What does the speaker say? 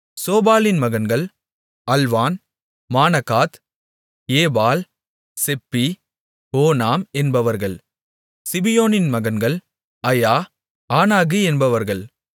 சோபாலின் மகன்கள் Alvan Manahath Ebal Shephi Onam என்பவர்கள் சிபியோனின் மகன்கள் அயா ஆனாகு என்பவர்கள்